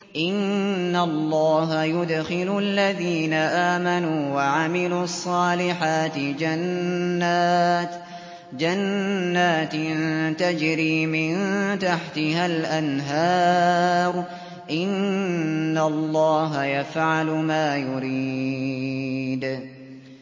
إِنَّ اللَّهَ يُدْخِلُ الَّذِينَ آمَنُوا وَعَمِلُوا الصَّالِحَاتِ جَنَّاتٍ تَجْرِي مِن تَحْتِهَا الْأَنْهَارُ ۚ إِنَّ اللَّهَ يَفْعَلُ مَا يُرِيدُ